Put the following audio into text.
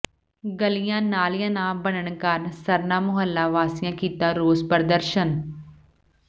ਗਲੀਆਂ ਨਾਲੀਆਂ ਨਾ ਬਣਨ ਕਾਰਨ ਸਰਨਾ ਮੁਹੱਲਾ ਵਾਸੀਆਂ ਕੀਤਾ ਰੋਸ ਪ੍ਰਦਰਸ਼ਨ